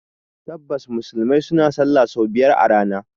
Tabbas, Musulmai suna sallah sau biyar a rana